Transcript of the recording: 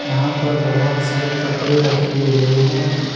यहां पर बहोत सारे कपड़े रखे हुए हैं।